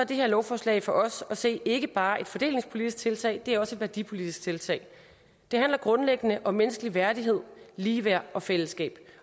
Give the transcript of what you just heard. det her lovforslag for os at se ikke bare et fordelingspolitisk tiltag det er også et værdipolitisk tiltag det handler grundlæggende om menneskelig værdighed ligeværd og fællesskab